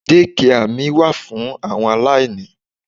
Dékià mi wà fún àwọn aláìní.